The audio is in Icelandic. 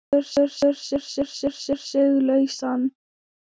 Slítur sig lausan.